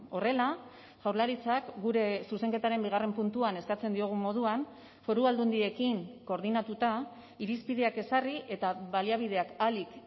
horrela jaurlaritzak gure zuzenketaren bigarren puntuan eskatzen diogun moduan foru aldundiekin koordinatuta irizpideak ezarri eta baliabideak ahalik